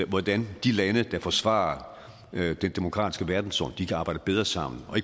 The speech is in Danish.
hvordan de lande der forsvarer den demokratiske verdensorden kan arbejde bedre sammen og